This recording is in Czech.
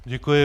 Děkuji.